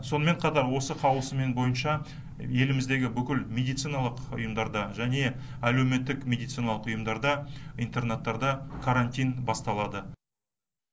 сонымен қатар осы қаулысымен бойынша еліміздегі бүкіл медициналық ұйымдарда және әлеуметтік медициналық ұйымдарда интернаттарда карантин басталады